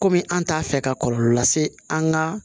Kɔmi an t'a fɛ ka kɔlɔlɔ lase an ga